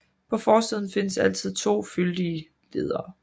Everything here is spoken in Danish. På forsiden findes altid to fyldige ledere